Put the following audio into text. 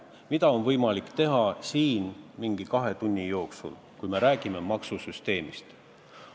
Mida on võimalik teha siin kahe tunni jooksul, kui me räägime maksusüsteemist?